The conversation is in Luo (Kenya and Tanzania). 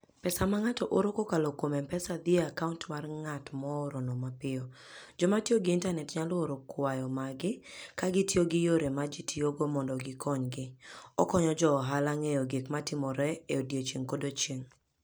Pesa ma ng'ato oro kokalo kuom M-Pesa dhi e akaunt mar ng'at moorono mapiyo. Joma tiyo gi Intanet nyalo oro kwayo maggi ka gitiyo gi yore ma ji tiyogo mondo gikonygi. Okonyo jo ohala ng'eyo gik matimore e odiechieng' kodiechieng'.